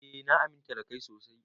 Eh na aminta da Kai sosai.